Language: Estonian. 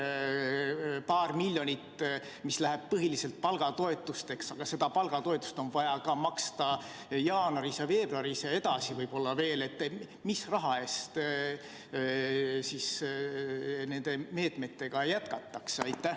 Kui see paar miljonit, mis läheb põhiliselt palgatoetusteks – ja seda palgatoetust on vaja maksta ka jaanuaris ja veebruaris ja edasi võib-olla veel –, siis mis raha eest neid meetmeid jätkatakse?